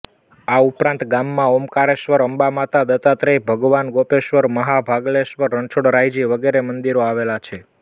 આ ઉપરાંત ગામમાં ઓમકારેશ્વર અંબામાતા દત્તાત્રેય ભગવાન ગોપેશ્વર મહાભાગલેશ્વર રણછોડરાયજી વગેરે મંદિરો આવેલાં છે